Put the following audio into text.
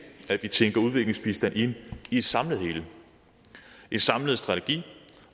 at vi tænker udviklingsbistand ind i et samlet hele en samlet strategi